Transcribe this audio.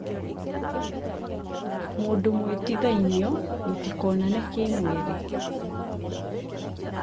mũndũ mũĩĩtĩthainĩo mũtikonane kĩmwĩrĩ